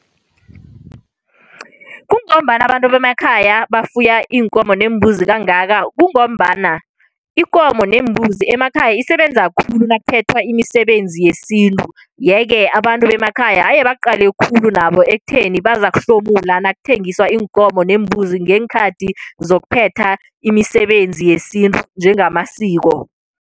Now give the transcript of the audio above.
Kungombana abantu bemakhaya bafuya iinkomo neembuzi kangaka, kungombana inkomo nembuzi emakhaya isebenza khulu nakuphethwa imisebenzi yesintu. Yeke, abantu bemakhaya haye baqale khulu nabo ekutheni bazakuhlomula nakutheliswa iinkomo neembuzi ngeenkhathi zokuphepha imisebenzi yesintu njengamasiko.